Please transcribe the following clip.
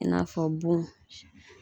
I n'a fɔ bon